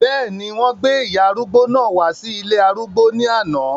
bẹ́ẹ̀ni, wọ́n gbé ìyá arúgbó náà wá sí ilé arúgbó ní àná